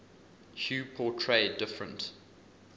hue portray different